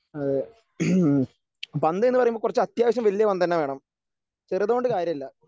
അതെ ഉം പന്ത് എന്ന് പറയുമ്പോ കുറച്ച് അത്യാവശ്യം വലിയ പന്ത് തന്നെ വേണം ചെറുതു കൊണ്ട് കാര്യല്ല.